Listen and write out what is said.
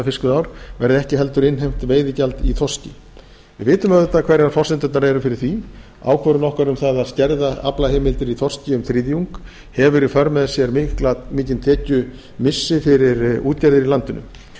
fiskveiðiár verði ekki heldur innheimt veiðigjald í þorski við vitum auðvitað hverjar forsendurnar eru fyrir því ákvörðun okkar um að skerða aflaheimildir í þorski um þriðjung hefur í för með sér mikinn tekjumissi fyrir útgerðir í